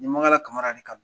N ye Mankala Kamara de ka